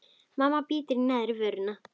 Mamma bítur í neðri vörina.